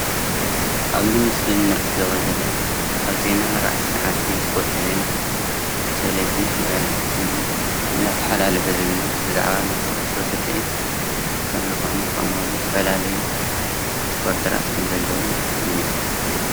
ኣብዚ ምስሊ እንዕዘቦ ዘለና ኣብ ዜና 4 ሰዓት ናይ ስፖርቲ ዜና ቴሌቭዥን ትግራይ ቲቪ እንዳተሓላለፈ ዝግነ ብዛዕባ ናይ ኩዕሾ ስኪዒት ከም ዝኾነ ከምእውን ዝተፈላለዩ ሪፖርተራት ከም ዘለው ንግንዘብ።